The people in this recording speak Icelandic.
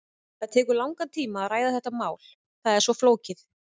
Það tekur langan tíma að ræða þetta mál, það er svo flókið.